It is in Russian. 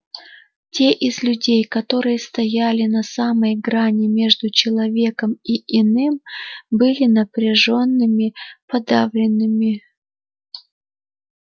те из людей которые стояли на самой грани между человеком и иным были напряжёнными подавленными